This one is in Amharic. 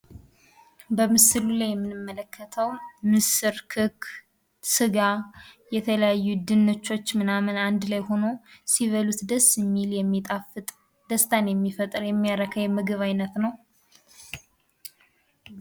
በምስሉ ላይ የምንመለከተው ምስር ክክ ስጋ የተለያዩ ድንቾች ምናምን አንድ ላይ ሁኖ ሲበሉት ደስ ሚል የሚጣፍጥ ደስታን የሚፈጥር የሚያረካ የምግብ አይነት ነው ።